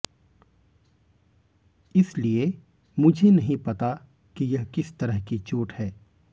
इसलिए मुझे नहीं पता कि यह किस तरह की चोट है